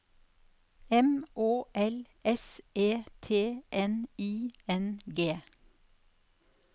M Å L S E T N I N G